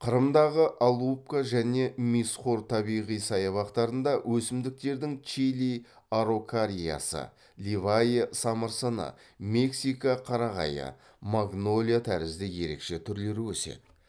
қырымдағы алупка және мисхор табиғи саябақтарында өсімдіктердің чили араукариясы ливае самырсыны мексика қарағайы магнолия тәрізді ерекше түрлері өседі